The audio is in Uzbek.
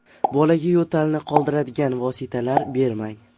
Bolaga yo‘talni qoldiradigan vositalar bermang.